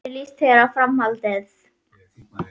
Hvernig líst þér á Framhaldið?